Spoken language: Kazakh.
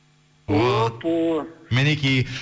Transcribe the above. мінекей